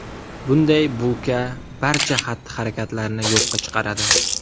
Bunday bulka barcha xatti-harakatlarni yo‘qqa chiqaradi.